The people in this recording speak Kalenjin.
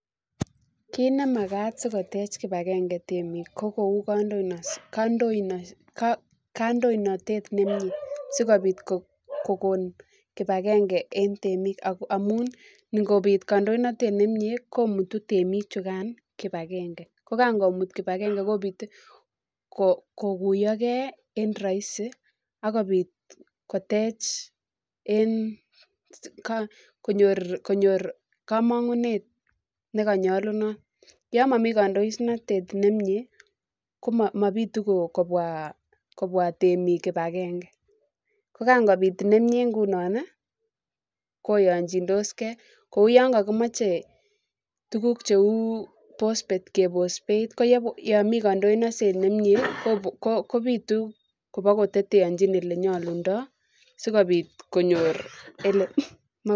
Kit nemajat sikotech kibagange temikko kou kaindoinatet sikobit kokon kibagenge en temik amun ingobik kaindoinatet nemie komutu temichukan komut kibagenge ko Jan komut kibagenge kobit kokuyokei smoking kotech en konyor kamangunet nenyolunot yan momii kaindoinatet nemie ko mobile kobwa temik kibagenge ko kan kobit koyochindoskei kou yon kakimoche tuguk cheu pospet kebos beit yon miten ksndoinatet nemie kobituk kobakoteteochin asikobit konyor elip.